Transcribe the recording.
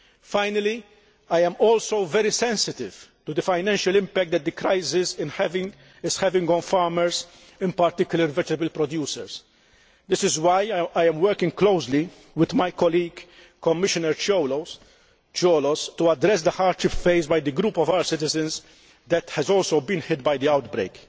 Finally, I am also very sensitive to the financial impact that this crisis is having on farmers, particularly vegetable producers. This is why I am working closely with my colleague, Commissioner Cioloş, to address the hardship faced by this group of our citizens that has also been hit by the outbreak.